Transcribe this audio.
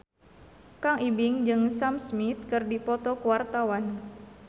Kang Ibing jeung Sam Smith keur dipoto ku wartawan